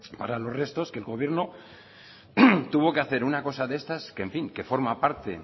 para los restos que el gobierno tuvo que hacer una cosa de estas que en fin que forma parte